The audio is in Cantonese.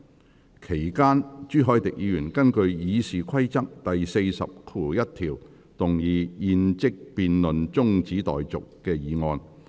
在會議期間，朱凱廸議員根據《議事規則》第401條，動議"現即將辯論中止待續"的議案。